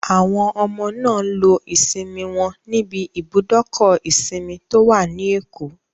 Àwọn ọmọ náà lo ìsinmi wọn níbi ibùdókọ̀ ìsinmi tó wà ní Èkó